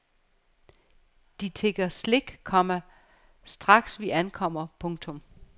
De tigger slik, komma straks vi ankommer. punktum